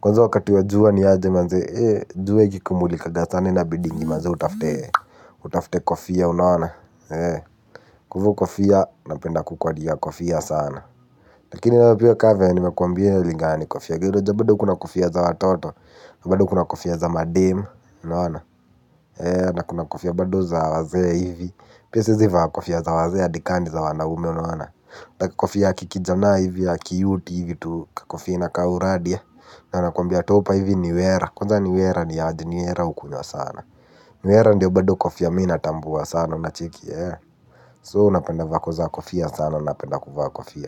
Kwanza wakati wa juwa niaje manze, eee, juwe kikumulikaga sana inabidingi manze utafute, utafute kofia unawana, eee. Kwa ivo kofia, napenda kukwadi ya kofia sana. Lakini napiwe kave nimekuambiwe lingani kofia gidoja bado kuna kofia za watoto. Na bado kuna kofia za mademe. Na kuna kofia bado za wazea hivi. Pia seziva kofia za wazea dikani za wanaume. Na kofia kikijana hivi ya kiyuti hivi tu kofia inaka uradia. Na nakuambia topa hivi niwera. Kwaza niwera ni ajiniwera ukunywa sana. Niwera ndio bado kofia mina tambuwa sana unacheki So unapenda vako za kofia sana unapenda kuvaa kofia.